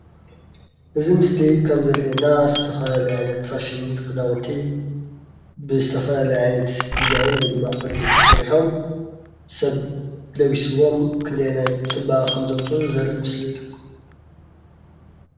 እዚ ምስሊ ከም ዘሪኢና ዝተፈላለዩ ዓይነት ፋሽን ከዳውንቲ ብዝተፈላለዩ ዓይነት ዲዛይኒ ወይ ድማ ቅዲ ተሰሪሑም ሰብ ለቢስዎም ክንደያናይ ፅባቀ ከም ዘምፁ ዘሪኢ ምስሊ እዩ፡፡